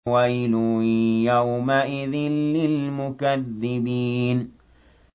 وَيْلٌ يَوْمَئِذٍ لِّلْمُكَذِّبِينَ